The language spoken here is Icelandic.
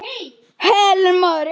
Helen María.